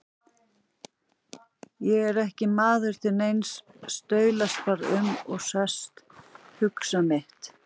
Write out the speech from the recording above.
Ég er ekki maður til neins, staulast bara um, sest, hugsa mitt.